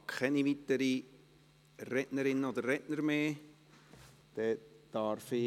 Ich habe keine weiteren Sprecherinnen oder Sprecher mehr auf der Liste.